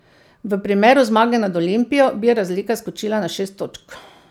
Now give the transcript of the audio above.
V primeru zmage nad Olimpijo, bi razlika skočila na šest točk.